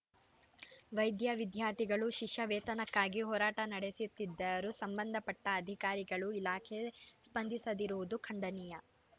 ವೈದ್ಯ ವಿದ್ಯಾರ್ಥಿಗಳು ಶಿಷ್ಯ ವೇತನಕ್ಕಾಗಿ ಹೋರಾಟ ನಡೆಸುತ್ತಿದ್ದರೂ ಸಂಬಂಧಪಟ್ಟಅಧಿಕಾರಿಗಳು ಇಲಾಖೆ ಸ್ಪಂದಿಸದಿರುವುದು ಖಂಡನೀಯ